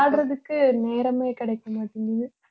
விளையாடுறதுக்கு, நேரமே கிடைக்க மாட்டேங்குது